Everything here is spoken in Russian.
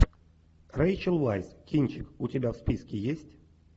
рэйчел вайс кинчик у тебя в списке есть